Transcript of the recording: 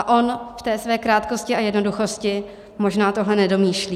A on v té své krátkosti a jednoduchosti možná tohle nedomýšlí.